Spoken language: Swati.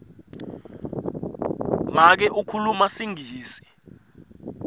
make ukhuluma singisi